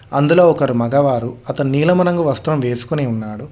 అందులో ఒకరు మగవారు అతను నీలము రంగు వస్త్రం వేసుకొని ఉన్నాడు.